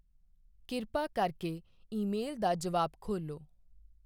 ਕਿਰਪਾ ਕਰਕੇ ਈਮੇਲ ਦਾ ਜਵਾਬ ਖੋਲ੍ਹੋ।